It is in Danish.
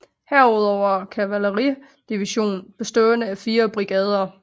Herudover en kavaleridivision bestående af fire brigader